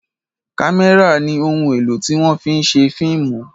kamẹra ní òún èló tí wón fí ń ṣe fíìmù